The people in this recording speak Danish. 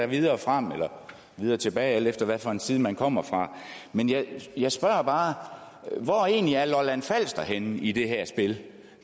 videre frem eller videre tilbage alt efter hvilken side man kommer fra men jeg spørger bare hvor er egentlig lolland falster henne i det her spil